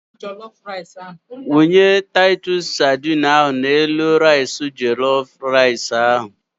Wunye taitus sadine ahụ n'elu rais jelof ahụ.